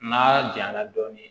N'a jayanna dɔɔnin